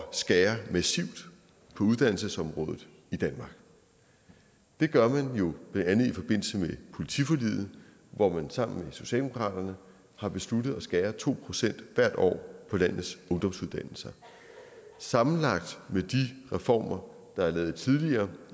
skære massivt på uddannelsesområdet i danmark det gør man jo blandt andet i forbindelse med politiforliget hvor man sammen med socialdemokratiet har besluttet at skære to procent hvert år på landets ungdomsuddannelser sammenlagt med de reformer der er lavet tidligere